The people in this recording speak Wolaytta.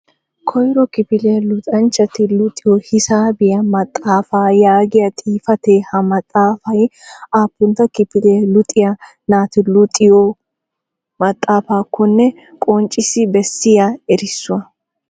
Koyro kifiliya luxanchchati luxiyo hisaabiya maxaafa yaagiya xifatee ha maxaafay aappuna kifiliya luxiyaa nati luxiyo maxaafakkonne qoncciyaa beessiyaa erissuwaa .